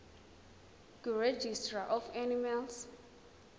kuregistrar of animals